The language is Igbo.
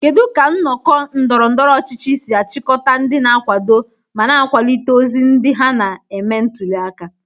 Kedu ka nnọkọ ndọrọ ndọrọ ọchịchị si achịkọta ndị na-akwado ma na-akwalite ozi ndị ha na-eme ntuli aka?